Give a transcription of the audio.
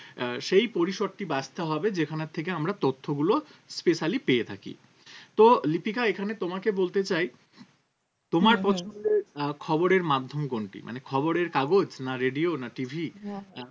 আহ সেই পরিসরটা বাছতে হবে যেখানের থেকে আমরা তথ্যগুলো specially পেয়ে থাকি তো লিপিকা এখানে তোমাকে বলতে চাই হম হম তোমার পছন্দের আহ খবর এর মাধ্যম কোনটি? মানে খবরের কাগজ না radio না TV আমি